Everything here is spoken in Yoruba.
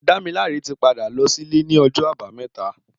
Damilare ti pádá lọ silé ni ọjọ àbàámẹ̀tá